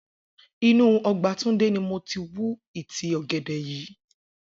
Inú o̩gbà Túndé ni mo ti wú ìtí ò̩gè̩dè̩ yìí